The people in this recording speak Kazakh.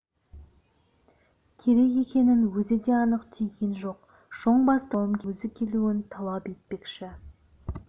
керек екенін өзі де анық түйген жоқ шоң бастықтың шлагбаумге өзі келуін талап етпекші